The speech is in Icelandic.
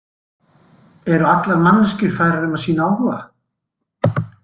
Eru allar manneskjur færar um að sýna áhuga?